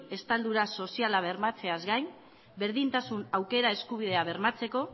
estaldura soziala bermatzeaz gain berdintasun eskubidea bermatzeko